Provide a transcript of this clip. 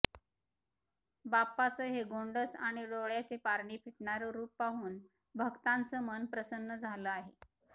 बाप्पाचं हे गोंडस आणि डोळ्याचे पारणे फिटणार रुप पाहून भक्तांचं मन प्रसन्न झालं आहे